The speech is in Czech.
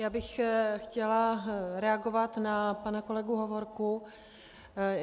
Já bych chtěla reagovat na pana kolegu Hovorku.